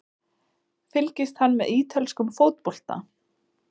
Fylgist hann með ítölskum fótbolta?